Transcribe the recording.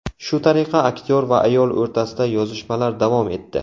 Shu tariqa aktyor va ayol o‘rtasida yozishmalar davom etdi.